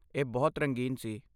ਇਹ ਬਹੁਤ ਰੰਗੀਨ ਸੀ।